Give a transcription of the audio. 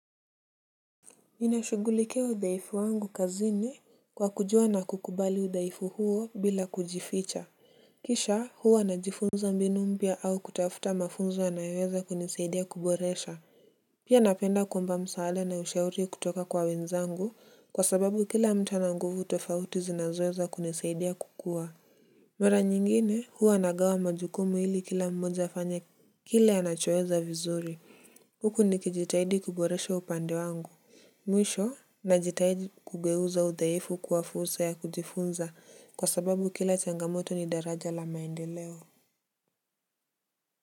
Ninashughulikia udhaifu wangu kazini kwa kujua na kukubali udhaifu huo bila kujificha. Kisha huwa najifunza mbinu mpya au kutafuta mafunzo yanayoweza kunisaidia kuboresha. Pia napenda kuomba msaada na ushauri kutoka kwa wenzangu kwa sababu kila mtu ana nguvu tofauti zinazoweza kunisaidia kukuwa. Mara nyingine huwa nagawa majukumu ili kila mmoja afanye kile anachoweza vizuri huku nikijitahidi kuboresha upande wangu. Mwisho najitahidi kugeuza udhaifu kuwa fursa ya kujifunza kwa sababu kila changamoto ni daraja la maendeleo.